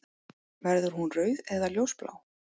Verður hún rauð eða ljósblá?